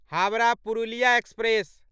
Howrah Purulia express